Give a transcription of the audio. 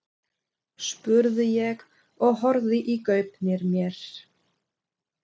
spurði ég og horfði í gaupnir mér.